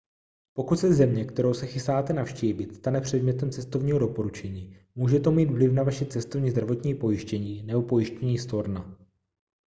pokud se země kterou se chystáte navštívit stane předmětem cestovního doporučení může to mít vliv na vaše cestovní zdravotní pojištění nebo pojištění storna